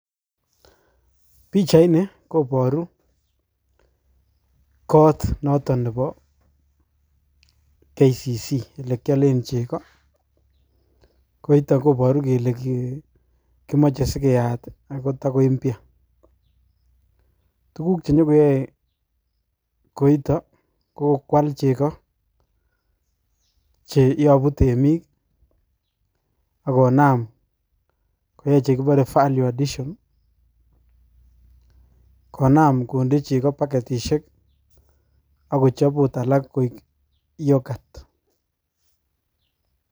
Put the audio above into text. Pichaini koboru koot noton nebo KCC elekiolen chekoo, koito koboru kelee kimoche sikeyat ak ko takoimpya, tukuk chenyokeyoe koito ko kwal cheko cheyobu temik ak konam koyai chekibore value addition, konam konde chekoo baketishek ak kochob oot alak koik yoghurt.